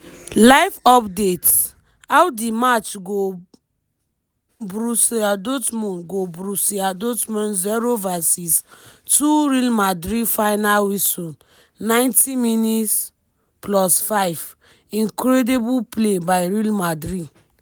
live updates: how di match go brussia dortmund go brussia dortmund zero vs two real madrid final whistle ninety minutes plus five-incredible play by real madrid.